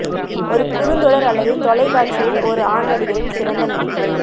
ஒரு குறுந்தொடர் அல்லது தொலைக்காட்சியில் ஒரு ஆண் நடிகரின் சிறந்த நடிப்பு